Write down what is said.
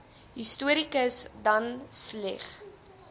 historikus dan sleigh